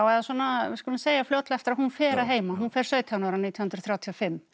við skulum segja fljótlega eftir að hún fer að heiman hún fer sautján ára nítján hundruð þrjátíu og fimm